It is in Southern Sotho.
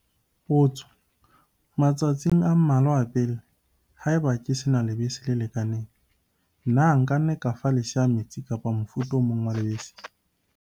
Potso - Matsatsing a mmalwa a pele, haeba ke se na lebese le lekaneng, na nka fa lesea metsi kapa mofuta o mong wa lebese?